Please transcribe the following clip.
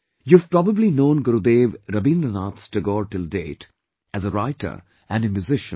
You have probably known Gurudev Rabindranath Tagore till date as a writer and a musician